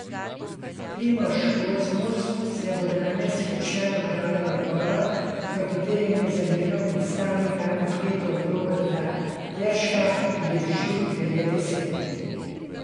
Primož Kozmus se bo danes kot član upravnega odbora, v katerem je zamenjal predstavnika atletov Roberta Terška, udeležil devete seje.